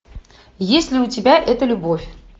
есть ли у тебя эта любовь